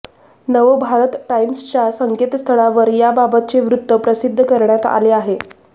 नवभारत टाईम्सच्या संकेतस्थळावर याबाबतचे वृत्त प्रसिद्ध करण्यात आले आहे